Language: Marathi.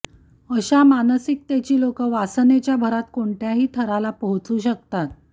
अशा मानसिकतेची लोकं वासनेच्या भरात कोणत्याही थराला पोहोचू शकतात